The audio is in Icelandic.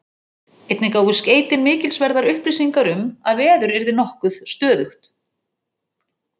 Einnig gáfu skeytin mikilsverðar upplýsingar um, að veður yrði nokkuð stöðugt.